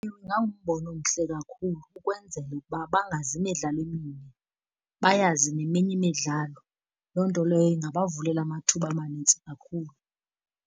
Ewe, ingangumbono omhle kakhulu ukwenzela uba bangazi imidlalo eminye, bayazi neminye imidlalo. Loo nto leyo ingabavulela amathuba amanintsi kakhulu.